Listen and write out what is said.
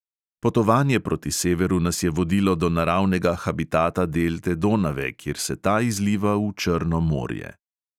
Potovanje proti severu nas je vodilo do naravnega habitata delte donave, kjer se ta izliva v črno morje.